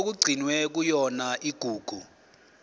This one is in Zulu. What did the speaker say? okugcinwe kuyona igugu